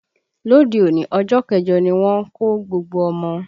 Lóde òní, ọjọ́ kẹjọ ni wọ́n ń kó gbogbo ọmọ